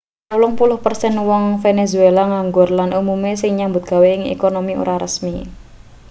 wolung puluh persen wong venezuela nganggur lan umume sing nyambut gawe ing ekonomi ora resmi